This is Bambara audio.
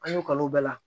An y'u ka kalo bɛɛ la